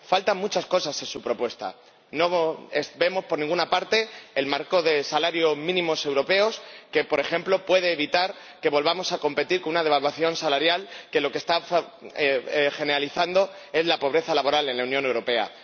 Faltan muchas cosas en su propuesta no vemos por ninguna parte el marco de salarios mínimos europeos, que, por ejemplo, puede evitar que volvamos a afrontar una devaluación salarial que lo que está generalizando es la pobreza laboral en la Unión Europea.